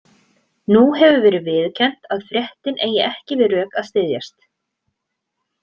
Nú hefur verið viðurkennt að fréttin eigi ekki við rök að styðjast.